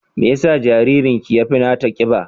Me yasa jaririnki ya fi nata ƙiba?